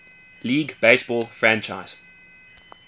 league baseball franchise